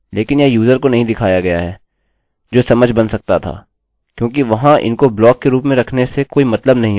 लोग आपके इंटरनेट विवरण को भी आसानी से देख सकते है